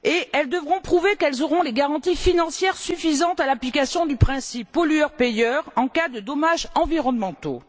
totale. Elles devront prouver qu'elles disposeront des garanties financières suffisantes pour supporter l'application du principe du pollueur payeur en cas de dommages environnementaux.